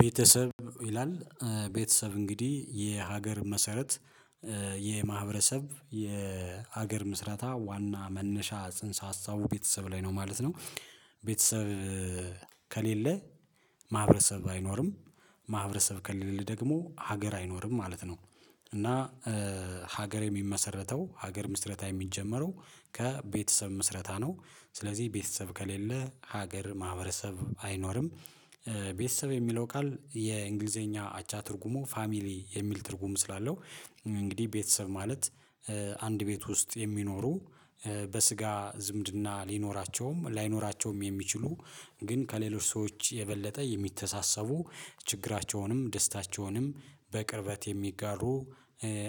ቤተሰብ ይላል። ቤተሰብ እንግዲህ የሀገር መሰረት የማህ የሀገር ምስረታ ዋና መነሻ ጽንሰ ሀሳቡ ቤተሰብ ላይ ነው ማለት ነው። ቤተሰብ ከሌለ ማህበረሰብ አይኖርም፣ ማህበረሰብ ከሌለ ደግሞ ሀገር አይኖርም ማለት ነው። እና ሀገር የሚመሰረተው፣ ሀገር ምስረታ የሚጀመረው ከቤተሰብ ምስረታ ነው። ስለዚህ ቤተሰብ ከሌለ ሀገር ማህበረሰብ አይኖርም። ቤተሰብ የሚለው ቃል የእንግሊዘኛ አቻ ትርጉሙ ፋሚሊ የሚል ትርጉም ስላለው እንግዲህ ቤተሰብ ማለት አንድ ቤት ውስጥ የሚኖሩ፣ በስጋ ዝምድና ሊኖራቸውም ላይኖራቸውም የሚችሉ ግን ከሌሎች ሰዎች የበለጠ የሚተሳሰቡ፣ ችግራቸውንም ደስታቸውንም በቅርበት የሚጋሩ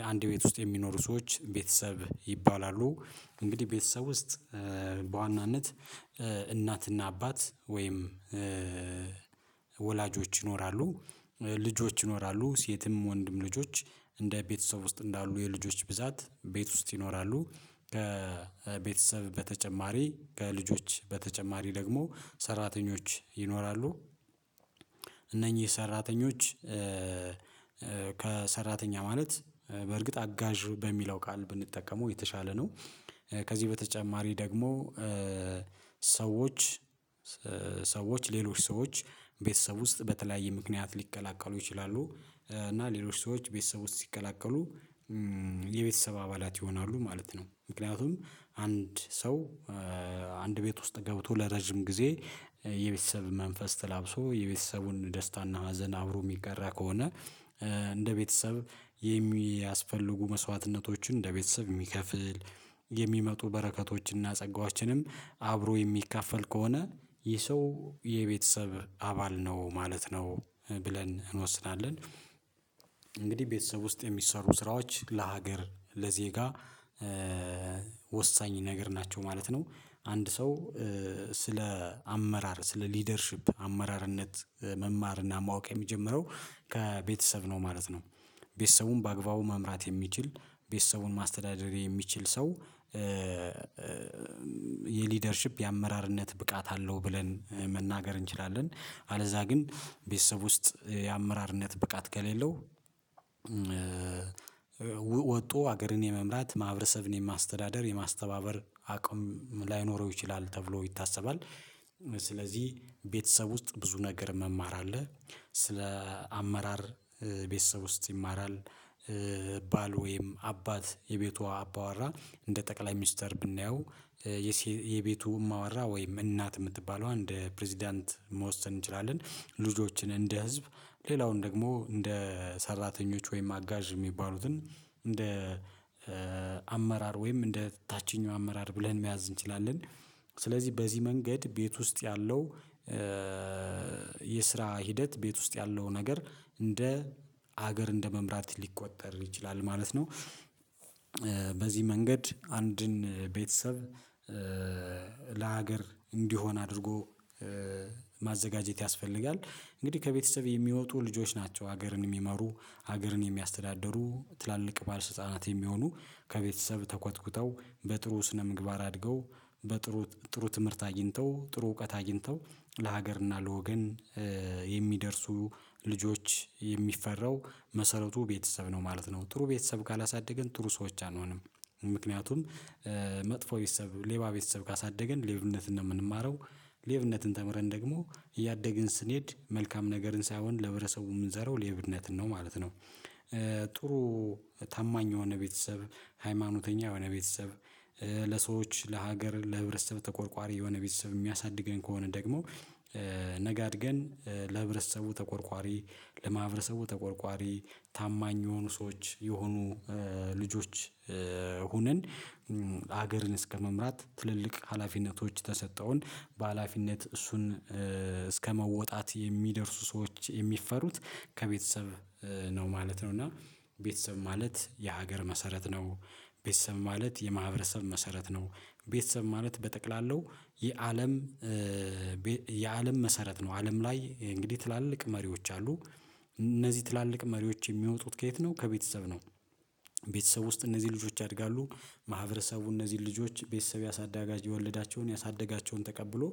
አንድ ቤት ውስጥ የሚኖሩ ሰዎች ቤተሰብ ይባላሉ። እንግዲህ ቤተሰብ ውስጥ በዋናነት እናትና አባት ወይም ወላጆች ይኖራሉ። ልጆች ይኖራሉ፣ ሴትም ወንድም ልጆች እንደ ቤተሰብ ውስጥ እንዳሉ የልጆች ብዛት ቤት ውስጥ ይኖራሉ፣ ከቤተሰብ በተጨማሪ ከልጆች በተጨማሪ ደግሞ ሰራተኞች ይኖራሉ። እነኚህ ሰራተኞች ከሰራተኛ ማለት በእርግጥ አጋዥ በሚለው ቃል ብንጠቀመው የተሻለ ነው። ከዚህ በተጨማሪ ደግሞ ሰዎች ሰዎች ሌሎች ሰዎች ቤተሰብ ውስጥ በተለያየ ምክንያት ሊቀላቀሉ ይችላሉ። እና ሌሎች ሰዎች ቤተሰብ ውስጥ ሲቀላቀሉ የቤተሰብ አባላት ይሆናሉ ማለት ነው። ምክንያቱም አንድ ሰው አንድ ቤት ውስጥ ገብቶ ለረጅም ጊዜ የቤተሰብ መንፈስ ተላብሶ የቤተሰቡን ደስታና ሀዘን አብሮ የሚጋራ ከሆነ እንደ ቤተሰብ የሚያስፈልጉ መስዋዕትነቶችን እንደ ቤተሰብ የሚከፍል፣ የሚመጡ በረከቶችንና ጸጋዎችንም አብሮ የሚካፈል ከሆነ ይህ ሰው የቤተሰብ አባል ነው ማለት ነው ብለን እንወስናለን። እንግዲህ ቤተሰብ ውስጥ የሚሰሩ ስራዎች ለሀገር ለዜጋ ወሳኝ ነገር ናቸው ማለት ነው። አንድ ሰው ስለ አመራር ስለ ሊደርሺፕ አመራርነት መማርና ማወቅ የሚጀምረው ከቤተሰብ ነው ማለት ነው። ቤተሰቡን በአግባቡ መምራት የሚችል፣ ቤተሰቡን ማስተዳደር የሚችል ሰው የሊደርሺፕ የአመራርነት ብቃት አለው ብለን መናገር እንችላለን። አለዛ ግን ቤተሰብ ውስጥ የአመራርነት ብቃት ከሌለው ወጦ ሀገርን የመምራት ማህበረሰብን የማስተዳደር የማስተባበር አቅም ላይኖረው ይችላል ተብሎ ይታሰባል። ስለዚህ ቤተሰብ ውስጥ ብዙ ነገር መማር አለ፣ ስለ አመራር ቤተሰብ ውስጥ ይማራል ባል ወይም አባት የቤቷ አባወራ እንደ ጠቅላይ ሚኒስተር ብናየው የቤቱ ማወራ ወይም እናት የምትባለዋ እንደ ፕሬዝዳንት መወሰን እንችላለን፣ ልጆችን እንደ ህዝብ፣ ሌላውን ደግሞ እንደ ሰራተኞች ወይም አጋዥ የሚባሉትን እንደ አመራር ወይም እንደ ታችኛው አመራር ብለን መያዝ እንችላለን። ስለዚህ በዚህ መንገድ ቤት ውስጥ ያለው የስራ ሂደት ቤት ውስጥ ያለው ነገር እንደ ሀገር እንደመምራት ሊቆጠር ይችላል ማለት ነው። በዚህ መንገድ አንድን ቤተሰብ ለሀገር እንዲሆን አድርጎ ማዘጋጀት ያስፈልጋል። እንግዲህ ከቤተሰብ የሚወጡ ልጆች ናቸው ሀገርን የሚመሩ ሀገርን የሚያስተዳደሩ ትላልቅ ባለስልጣናት የሚሆኑ ከቤተሰብ ተኮትኩተው በጥሩ ስነ ምግባር አድገው በጥሩ ጥሩ ትምህርት አግኝተው፣ ጥሩ እውቀት አግኝተው ለሀገርና ለወገን የሚደርሱ ልጆች የሚፈራው መሰረቱ ቤተሰብ ነው ማለት ነው። ጥሩ ቤተሰብ ካላሳደገን ጥሩ ሰዎች አንሆንም ምክንያቱም መጥፎ ቤተሰብ፣ ሌባ ቤተሰብ ካሳደገን ሌብነት ነው የምንማረው። ሌብነትን ተምረን ደግሞ እያደግን ስንሄድ መልካም ነገርን ሳይሆን ለህብረሰቡ የምንዘራው ሌብነትን ነው ማለት ነው። ጥሩ ታማኝ የሆነ ቤተሰብ፣ ሃይማኖተኛ የሆነ ቤተሰብ፣ ለሰዎች ለሀገር ለህብረተሰብ ተቆርቋሪ የሆነ ቤተሰብ የሚያሳድገን ከሆነ ደግሞ ነገ አድገን ለህብረተሰቡ ተቆርቋሪ፣ ለማህበረሰቡ ተቆርቋሪ ታማኝ የሆኑ ሰዎች የሆኑ ልጆች ሁነን ሀገርን እስከመምራት ትልልቅ ሀላፊነቶች ተሰጠውን በሃላፊነት እሱን እስከመወጣት የሚደርሱ ሰዎች የሚፈሩት ከቤተሰብ ነው ማለት ነው። እና ቤተሰብ ማለት የሀገር መሰረት ነው። ቤተሰብ ማለት የማህበረሰብ መሰረት ነው። ቤተሰብ ማለት በጠቅላላው የአለም የአለም መሰረት ነው። አለም ላይ እንግዲህ ትላልቅ መሪዎች አሉ እነዚህ ትላልቅ መሪዎች የሚወጡት ከየት ነው ከቤተሰብ ነው። ቤተሰብ ውስጥ እነዚህ ልጆች ያድጋሉ ማህበረሰቡ እነዚህ ልጆች ቤተሰብ ያሳዳጋቸውን የወለዳቸውን ያሳደጋቸውን ተቀብሎ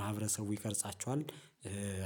ማህበረሰቡ ይቀርጻቸዋል።